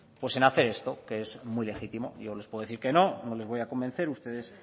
pues en hacer esto que es muy legítimo yo les puedo decir que no no les voy a convencer ustedes